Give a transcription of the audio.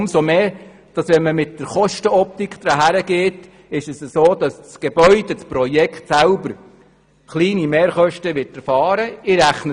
Wenn man das Ganze aus der Kostenoptik betrachtet, ist es so, dass das Gebäude kleine Mehrkosten erfahren wird.